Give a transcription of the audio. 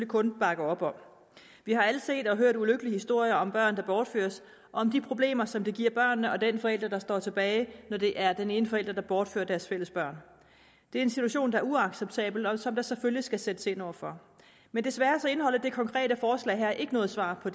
kun bakke op om vi har alle set og hørt ulykkelige historier om børn der bortføres og om de problemer som det giver børnene og den forælder der står tilbage når det er den ene forælder der bortfører deres fælles børn det er en situation der er uacceptabel og som der selvfølgelig skal sættes ind over for men desværre indeholder dette konkrete forslag ikke noget svar på